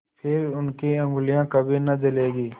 फिर उनकी उँगलियाँ कभी न जलेंगी